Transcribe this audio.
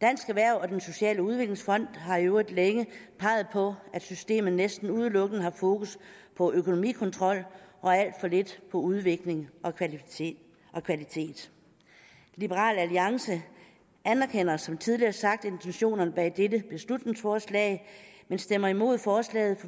dansk erhverv og den sociale udviklingsfond har i øvrigt længe peget på at systemet næsten udelukkende har fokus på økonomikontrol og alt for lidt på udvikling og kvalitet liberal alliance anerkender som tidligere sagt intentionerne bag dette beslutningsforslag men stemmer imod forslaget